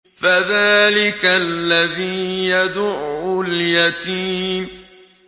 فَذَٰلِكَ الَّذِي يَدُعُّ الْيَتِيمَ